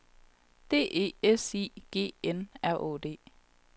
D E S I G N R Å D